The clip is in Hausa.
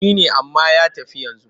Shi ne amma ya tafi yanzu.